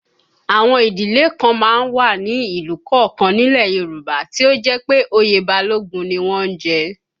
Àwọn ìdílé kan má ń wà ní ìlú kọ̀ọ̀kan nílẹ̀ Yorùbá tí ó jẹ́ pé oyè Balógun ni wọ́n ń jẹ